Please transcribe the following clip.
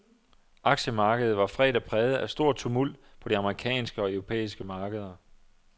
Aktiemarkedet var fredag præget af stor tumult på de amerikanske og europæiske markeder.